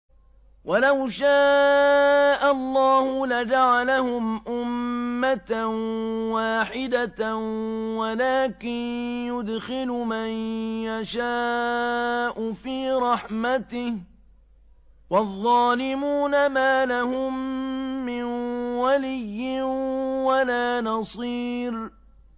وَلَوْ شَاءَ اللَّهُ لَجَعَلَهُمْ أُمَّةً وَاحِدَةً وَلَٰكِن يُدْخِلُ مَن يَشَاءُ فِي رَحْمَتِهِ ۚ وَالظَّالِمُونَ مَا لَهُم مِّن وَلِيٍّ وَلَا نَصِيرٍ